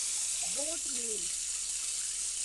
boat मेल